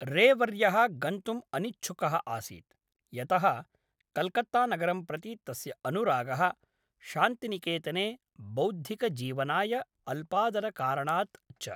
रे वर्यः गन्तुम् अनिच्छुकः आसीत्, यतः कल्कत्ता नगरं प्रति तस्य अनुरागः, शान्तिनिकेतने बौद्धिकजीवनाय अल्पादरकारणात् च।